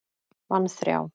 Vann þrjá.